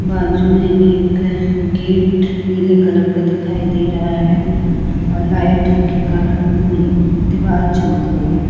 बाजू में एक गेट नीले कलर का दिखाई दे रहा है और लाइट के कारण पूरी दीवार चमक रही है।